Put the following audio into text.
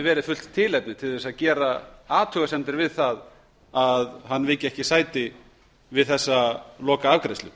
verið fullt tilefni til að gera athugasemdir við það að hann viki ekki sæti við þessa lokaafgreiðslu